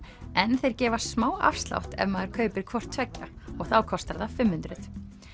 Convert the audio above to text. en þeir gefa smá afslátt ef maður kaupir hvort tveggja þá kostar það fimm hundruð